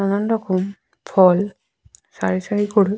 নানান রকম ফল সারি সারি করে --